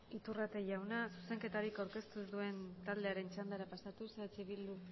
iturrate jauna zuzenketarik aurkeztu ez duen taldearen txandara pasatuz eh bildu